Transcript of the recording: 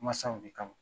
Masaw de kama